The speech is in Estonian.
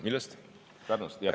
Millest?